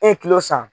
E ye kilo san